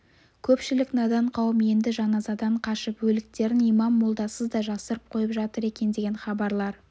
көпшілік надан қауым енді жаназадан қашып өліктерін имам молдасыз да жасырып қойып жатыр екен деген хабарлар